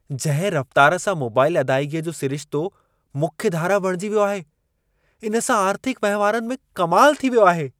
जंहिं रफ़्तार सां मोबाईल अदाइगीअ जो सिरिशितो मुख्य धारा बणिजी वियो आहे। इन सां आर्थिक वहिंवारनि में कमाल थी वियो आहे।